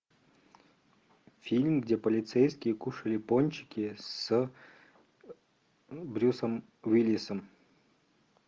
фильм где полицейские кушали пончики с брюсом уиллисом